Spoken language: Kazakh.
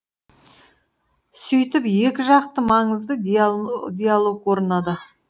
сөйтіп екі жақты маңызды диалог орнады